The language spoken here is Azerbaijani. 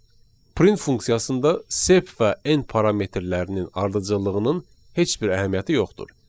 Print funksiyasında sep və n parametrlərinin ardıcıllığının heç bir əhəmiyyəti yoxdur.